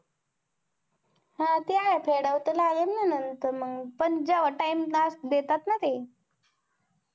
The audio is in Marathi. हा ते आहे फेडाव तर लागलं नंतर मग पण time देतात ना ते